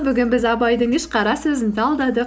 бүгін біз абайдың үш қара сөзін талдадық